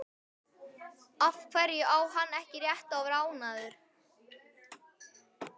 Af hverju á hann ekki rétt á að vera ánægður?